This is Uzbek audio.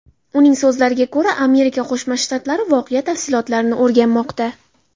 Uning so‘zlariga ko‘ra, Amerika Qo‘shma Shtatlari voqea tafsilotlarini o‘rganmoqda.